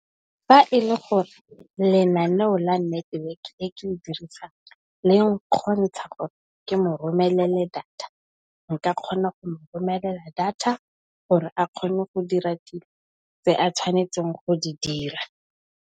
Fa e le gore lenaneo la network e ke e dirisang le ne kgontsha gore ke mo romelele data nka kgona go mo romelela data gore a kgone go dira dilo tse a tshwanetseng go di dira.